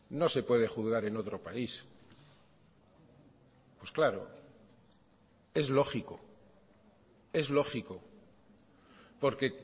no se puede juzgar en otro país pues claro es lógico es lógico porque